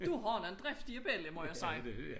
Du har nogle driftige bella må jeg sige